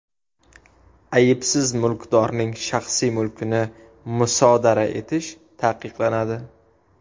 Aybsiz mulkdorning shaxsiy mulkini musodara etish taqiqlanadi.